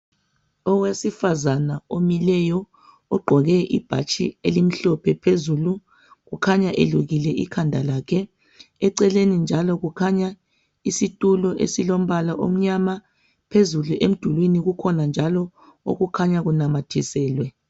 Owesifazana omileyo, ogqoke ibhatshi elimhlophe phezulu. Ukhanya elukile ikhanda lakhe. Eceleni njalo kukhanya isitulo esilombala omnyama. Phezulu emdulini kukhona njalo okukhanya kunamathiselwe.